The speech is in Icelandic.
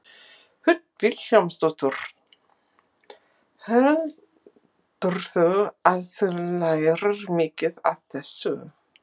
Hödd Vilhjálmsdóttir: Heldurðu að þú lærir mikið af þessu?